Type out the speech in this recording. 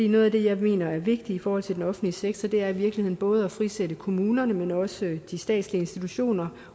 noget af det jeg mener er vigtigt i forhold til den offentlige sektor er i virkeligheden både at frisætte kommunerne men også de statslige institutioner